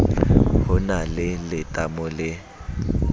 ho na le letamo le